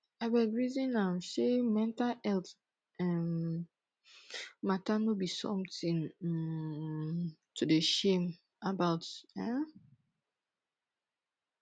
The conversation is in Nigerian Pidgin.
abeg resin am sey mental healt um mata no be sometin um to dey shame about um